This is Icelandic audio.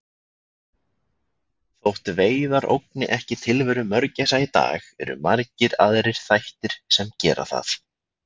Þótt veiðar ógni ekki tilveru mörgæsa í dag eru margir aðrir þættir sem gera það.